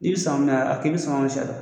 I bi sama